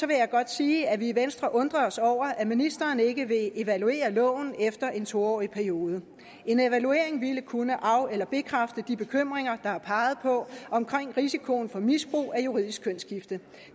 vil jeg godt sige at vi i venstre undrer os over at ministeren ikke vil evaluere loven efter en to årig periode en evaluering ville kunne af eller bekræfte de bekymringer der er peget på om risikoen for misbrug af juridisk kønsskifte